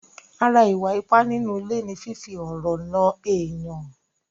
Ara ìwà ipá nínú ilé ni fífi ọ̀rọ̀ nà èèyàn.